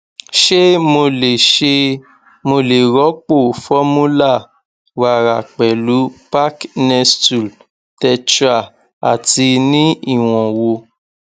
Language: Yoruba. ṣé mo lè ṣé mo lè rọpò formula wàrà pẹlú pack nestle tetra ati ní ìwọn wo